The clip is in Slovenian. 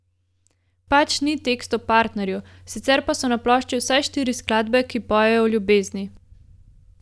Pač ni tekst o partnerju, sicer pa so na plošči vsaj štiri skladbe, ki pojejo o ljubezni.